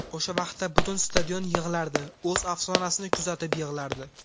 O‘sha vaqtda butun stadion yig‘lardi, o‘z afsonasini kuzatib yig‘lardi.